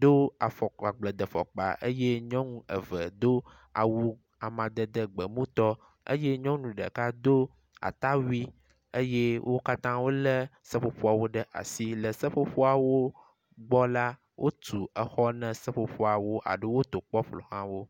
do afɔkpa agbledefɔkpa eye nyɔnu eve do awu amadede gbemutɔ eye nyɔnu ɖeka do atawui eye wo katã wo le seƒoƒoawo ɖe asi. Le seƒoƒowo gbɔ la wotu exɔ na seƒoƒoawo aɖo wotɔ kpɔ ƒoxlawo.